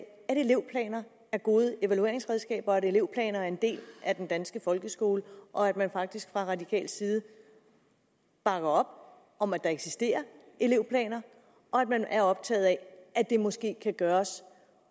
at elevplaner er gode evalueringsredskaber og at elevplaner er en del af den danske folkeskole og at man faktisk fra radikal side bakker op om at der eksisterer elevplaner og at man er optaget af at det måske kan gøres